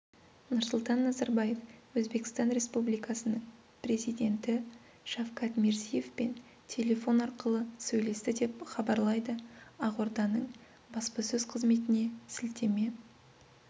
нұрсұлтан назарбаев өзбекстан республикасының президенті шавкат мирзиевпен телефон арқылы сөйлесті деп хабарлайды ақорданың баспасөз қызметіне сілтеме